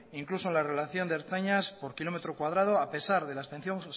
incluso en relación de ertzainas por kilómetro cuadrado a pesar de la